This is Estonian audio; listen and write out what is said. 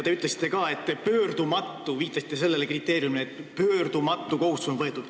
Veel viitasite te kriteeriumile, et pöördumatu kohustus peab olema võetud.